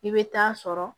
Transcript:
I bɛ taa sɔrɔ